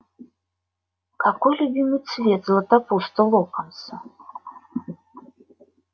какой любимый цвет златопуста локонса